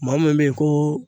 Maa min bɛ ye ko